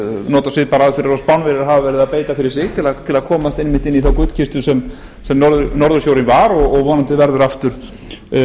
nota svipaðar aðferðir og spánverjar hafa verið að beita fyrir sig hitt að komast einmitt inn í þá gullkistu sem norðursjórinn var og vonandi verður aftur